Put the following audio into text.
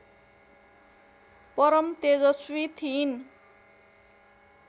परम तेजस्वी थिइन्